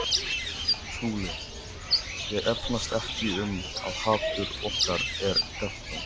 SKÚLI: Ég efast ekki um að hatur okkar er gagnkvæmt.